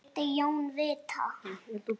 vildi Jón vita.